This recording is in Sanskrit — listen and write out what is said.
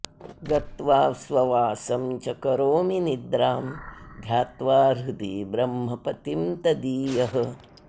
गत्वा स्ववासं च करोमि निद्रां ध्यात्वा हृदि ब्रह्मपतिं तदीयः